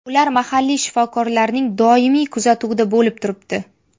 Ular mahalliy shifokorlarning doimiy kuzatuvida bo‘lib turibdi.